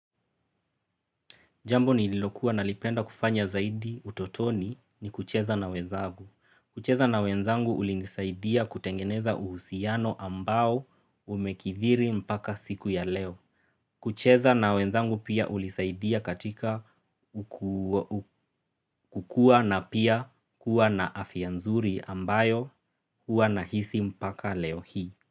Jambo nililokuwa nalipenda kufanya zaidi utotoni ni kucheza na wenzangu. Kucheza na wenzangu ulinisaidia kutengeneza uhusiano ambao umekithiri mpaka siku ya leo. Kucheza na wenzangu pia ulinisaidia katika kukua na pia kuwa na afya nzuri ambayo hua na hisi mpaka leo hii.